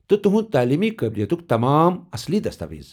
تہٕ تہنٛدِ تعلیمی قٲبِلیتُک تمام اصلی دستاویز۔